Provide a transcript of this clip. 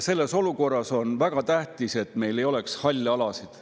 Selles olukorras on väga tähtis, et meil ei oleks halle alasid.